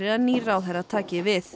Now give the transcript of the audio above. að nýr ráðherra taki við